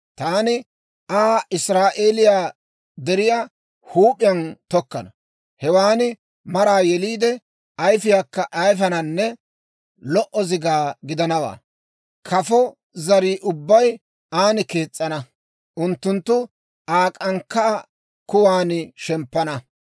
Taani Aa Israa'eeliyaa deriyaa huup'iyaan tokkana; hewan maraa yeliide, ayifiyaakka ayifananne lo"o zigaa gidanawaa. Kafo zarii ubbay an kees's'ana; unttunttu Aa k'ankkaa kuwan shemppana.